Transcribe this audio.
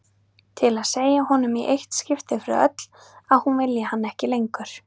Til að segja honum í eitt skipti fyrir öll að hún vilji hann ekki lengur.